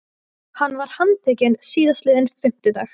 Hann var handtekinn síðastliðinn fimmtudag